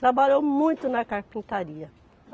Trabalhou muito na carpintaria.